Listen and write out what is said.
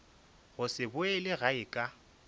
go se boele gae ka